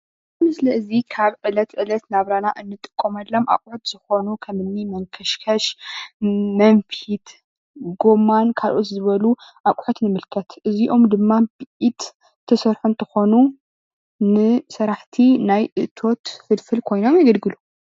እዚ ምስሊ እዚ ካብ ዕለት ዕለት ናብራና እንጥቀመሎም ኣቁሑት ዝኮኑ ከምኒ መንከሽክሽ፣ መንፊት፣ ጎማን ካልኦት ዝበሉ ኣቁሑት ይምልከት። እዚኦም ድማ ብኢድ ዝተሰርሑ እንትኮኑ ንስራሕቲ ናይ እቶት ፍልፍል ኮይኖም የገልግሉ ።